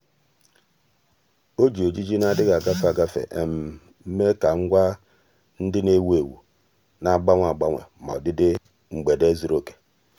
ọ́ jì ejiji nà-adị́ghị́ ágafe ágafe mèé kà ngwa ndị nà-èwú éwú nà-ágbànwè ágbànwè màkà ọdịdị mgbede zùrù òkè.